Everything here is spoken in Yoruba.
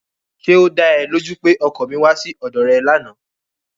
Ṣé ó da ẹ lójú pé ọkọ mi wá sí ọ̀dọ̀ rẹ lánàá?